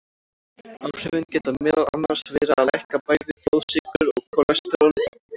Áhrifin geta meðal annars verið að lækka bæði blóðsykur og kólesteról í blóði.